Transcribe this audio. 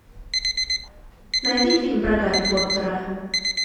найди фильм про гарри поттера